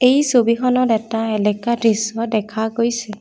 এই ছবিখনত এটা এলেকা দৃশ্য দেখা গৈছে।